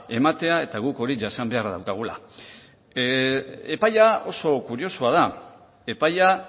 ematea eta guk hori jasan beharra daukagula epaia oso kuriosoa da epaia